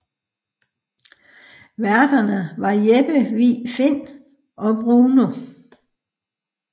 Værterne var Jeppe Vig Find og Bruno